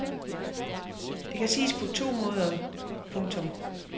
Det kan siges på to måder. punktum